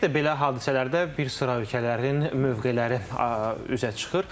Ümumiyyətlə belə hadisələrdə bir sıra ölkələrin mövqeləri üzə çıxır.